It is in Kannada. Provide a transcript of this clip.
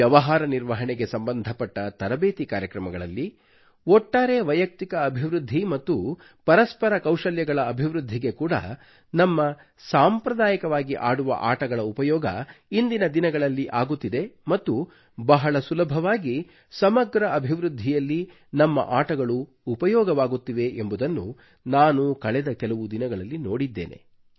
ವ್ಯವಹಾರ ನಿರ್ವಹಣೆಗೆ ಸಂಬಂಧಪಟ್ಟ ತರಬೇತಿ ಕಾರ್ಯಕ್ರಮಗಳಲ್ಲಿ ಒಟ್ಟಾರೆ ವೈಯುಕ್ತಿಕ ಅಭಿವೃದ್ಧಿ ಮತ್ತು ಪರಸ್ಪರ ಕೌಶಲ್ಯಗಳ ಅಭಿವೃದ್ಧಿಗೆ ಕೂಡ ನಮ್ಮ ಸಾಂಪ್ರದಾಯಿಕವಾಗಿ ಆಡುವ ಆಟಗಳ ಉಪಯೋಗ ಇಂದಿನ ದಿನಗಳಲ್ಲಿ ಆಗುತ್ತಿದೆ ಮತ್ತು ಬಹಳ ಸುಲಭವಾಗಿ ಸಮಗ್ರ ಅಭಿವೃದ್ಧಿಯಲ್ಲಿ ನಮ್ಮ ಆಟಗಳು ಉಪಯೋಗವಾಗುತ್ತಿವೆ ಎಂಬುದನ್ನು ನಾನು ಕಳೆದ ಕೆಲವು ದಿನಗಳಲ್ಲಿ ನೋಡಿದ್ದೇನೆ